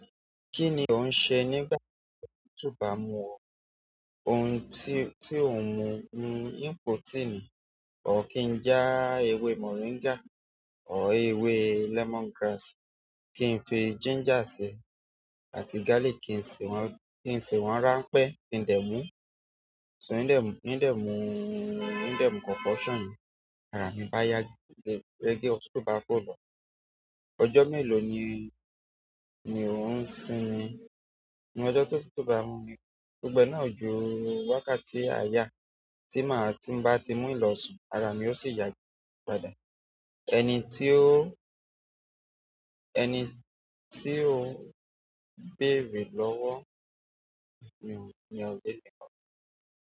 Kíni ó ń ṣe nígbà tó toba mú ọ, ohun tí ó ń mú ni protein. Or kí n já ewé moringa or ewé lemongrass, kí n fi ginger sí, àti garlic kí n ṣe wọ́n, kí n ṣe wọ́n ránpẹ́ kí n dẹ̀ mú. So ní de, n dẹ̀ mú, n dẹ̀ mú concoction yẹn, ara mi bá yá gaga. Rẹ́gẹ́ òtútù bá fò lọ, ọjọ́ mélòó ni, ni ò ń sinmi? Ni ọjọ́ tó títú bá mú mi, gbogbo e náà ju wákàtí àyà tí màá tí bá ti mú hin lọsùn, ara mi yóò sì yà gaga padà. Ẹni tí o, ẹni tí o bèerè lọ́wọ́ mi ni òbí mi lọ́wọ́.